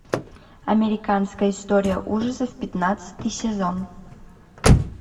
американская история ужасов пятнадцатый сезон